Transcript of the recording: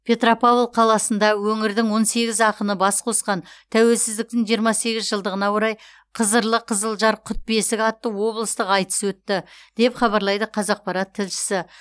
петропавл қаласында өңірдің он сегіз ақынын бас қосқан тәуелсіздіктің жиырма сегіз жылдығына орай қызырлы қызылжар құт бесік атты облыстық айтыс өтті деп хабарлайды қазақпарат тілшісі